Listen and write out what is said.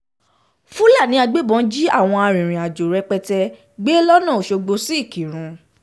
fúlàní agbébọn jí àwọn arìnrìn-àjò rẹpẹtẹ gbé lójú ọ̀nà ọ̀ṣọ́gbó sí ìkírùn